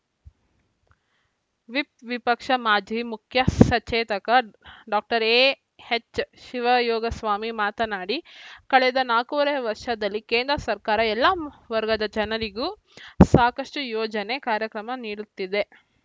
whip ವಿಪಕ್ಷ ಮಾಜಿ ಮುಖ್ಯ ಸಚೇತಕ ಡಾಕ್ಟರ್ ಎಎಚ್‌ಶಿವಯೋಗಸ್ವಾಮಿ ಮಾತನಾಡಿ ಕಳೆದ ನಾಲ್ಕೂವರೆ ವರ್ಷದಲ್ಲಿ ಕೇಂದ್ರ ಸರ್ಕಾರ ಎಲ್ಲಾ ಮ್ ವರ್ಗದ ಜನರಿಗೂ ಸಾಕಷ್ಟುಯೋಜನೆ ಕಾರ್ಯಕ್ರಮ ನೀಡುತ್ತಿದೆ